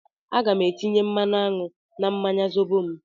Aga m etinye mmanụ aṅụ na mmanya Zobo m